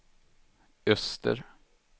öster